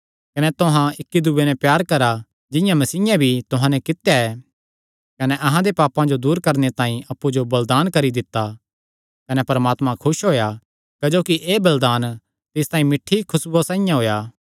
कने तुहां इक्की दूये नैं प्यार करा जिंआं मसीयें भी तुहां नैं कित्या ऐ कने अहां दे पापां जो दूर करणे तांई अप्पु जो बलिदान करी दित्ता कने परमात्मा खुस होएया क्जोकि एह़ बलिदान तिस तांई मिठ्ठी खुसबुया साइआं होएया